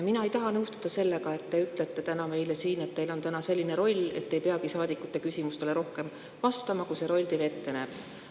Mina ei taha nõustuda sellega, kui te ütlete meile siin, et teil on täna selline roll, et te ei peagi saadikute küsimustele vastama rohkem, kui see roll siin ette näeb.